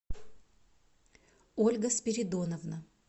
ольга спиридоновна